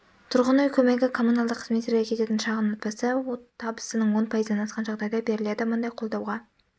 тұрғын үй көмегі коммуналдық қызметтерге кететін шығын отбасы табысының он пайызынан асқан жағдайда беріледі мұндай қолдауға